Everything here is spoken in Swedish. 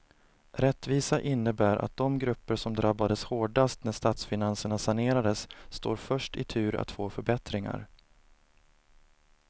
Rättvisa innebär att de grupper som drabbades hårdast när statsfinanserna sanerades står först i tur att få förbättringar.